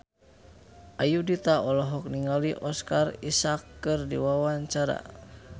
Ayudhita olohok ningali Oscar Isaac keur diwawancara